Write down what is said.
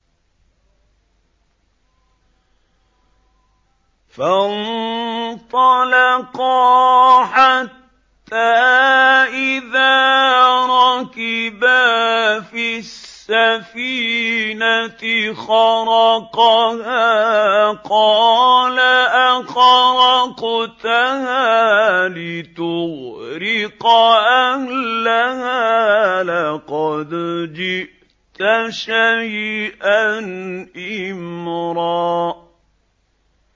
فَانطَلَقَا حَتَّىٰ إِذَا رَكِبَا فِي السَّفِينَةِ خَرَقَهَا ۖ قَالَ أَخَرَقْتَهَا لِتُغْرِقَ أَهْلَهَا لَقَدْ جِئْتَ شَيْئًا إِمْرًا